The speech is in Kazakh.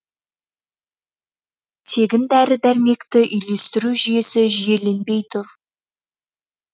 тегін дәрі дәрмекті үйлестіру жүйесі жүйеленбей тұр